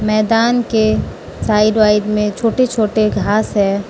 मैदान के side wide में छोटे छोटे घास है।